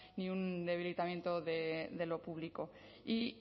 ni un debilitamiento de lo público y